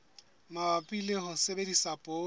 mabapi le ho sebedisa poone